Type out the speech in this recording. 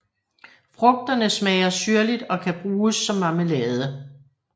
Frugterne smager syrligt og kan bruges som marmelade